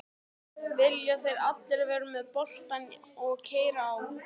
Vilja þeir allir vera með boltann og keyra á?